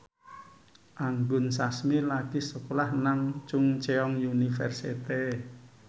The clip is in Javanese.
Anggun Sasmi lagi sekolah nang Chungceong University